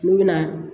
Olu bɛna